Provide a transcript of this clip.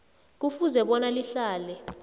kufuze bona lihlale